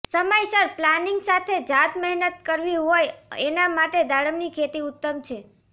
સમયસર પ્લાનિંગ સાથે જાત મહેનત કરવી હોય એના માટે દાડમની ખેતી ઉત્તમ છે